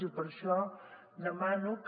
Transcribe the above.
i per això demano que